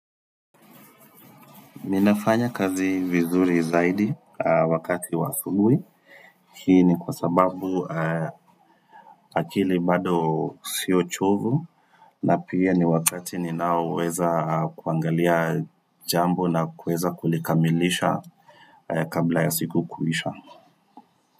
Ninafanya kazi vizuri zaidi wakati wa asubui. Hii ni kwa sababu akili bado sio chovu. Na pia ni wakati ninaoweza kuangalia jambo na kuweza kulikamilisha kabla ya siku kuisha.